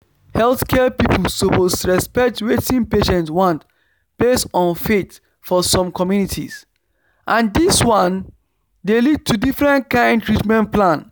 healthcare people suppose respect wetin patients want based on faith for some communities and this one dey lead to different kind treatment plan